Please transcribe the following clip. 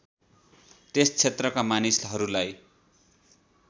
त्यस क्षेत्रका मानिसहरूलाई